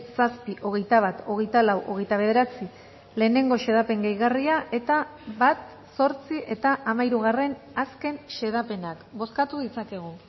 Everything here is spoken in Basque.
zazpi hogeita bat hogeita lau hogeita bederatzi lehenengo xedapen gehigarria eta bat zortzi eta hamairugarrena azken xedapenak bozkatu ditzakegu